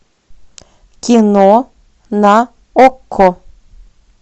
кино на окко